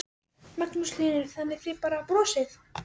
Magnús Hlynur: Þannig að þið bara brosið?